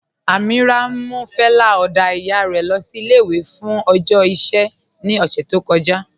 Amíírà mú fẹlẹ oda iyà rẹ sí ilé-ìwé fún ọjọ́ iṣẹ̀ ní ọṣẹ̀ tó kọ̀jà.